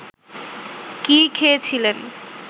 কি খেয়ে ছিলেন